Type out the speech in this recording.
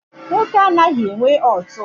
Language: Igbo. Nwoke anaghị enwe ọtụ.